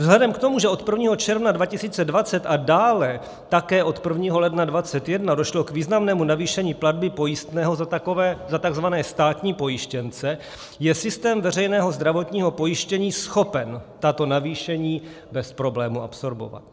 Vzhledem k tomu, že od 1. června 2020 a dále také od 1. ledna 2021 došlo k významnému navýšení platby pojistného za takzvané státní pojištěnce, je systém veřejného zdravotního pojištění schopen tato navýšení bez problému absorbovat.